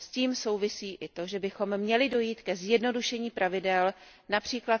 S tím souvisí i to, že bychom měli dojít ke zjednodušení pravidel, např.